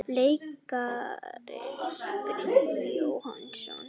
Leikararnir, Brynjólfur Jóhannesson